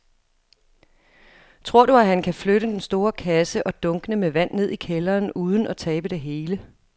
Tror du, at han kan flytte den store kasse og dunkene med vand ned i kælderen uden at tabe det hele?